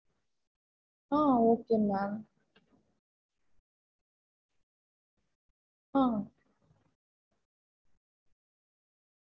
அதெல்லாமே so அதெல்லாம் எப்படி பண்ணுங்கறதையும் நா உங்களுக்கு ஒரு PDF ல send பண்றேன். cake இந்த மாதிரி design லதா செய்யனுனு அந்த மாதிரி பண்ணி கொடுத்துருவீங்கல்ல.